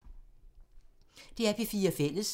DR P4 Fælles